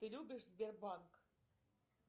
ты любишь сбербанк